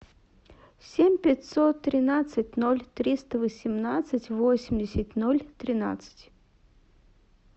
семь пятьсот тринадцать ноль триста восемнадцать восемьдесят ноль тринадцать